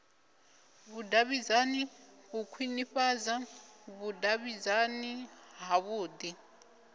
vhudavhidzani u khwinifhadza vhudavhidzani havhui